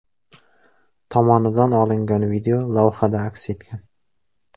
tomonidan olingan video lavhada aks etgan.